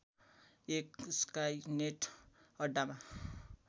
एक स्काइनेट अड्डामा